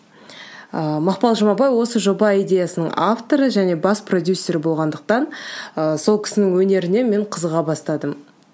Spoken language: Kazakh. ы мақпал жұмабай осы жоба идеясының авторы және бас продюссер болғандықтан ыыы сол кісінің өнеріне мен қызыға бастадым